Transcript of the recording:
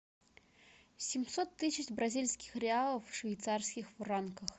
семьсот тысяч бразильских реалов в швейцарских франках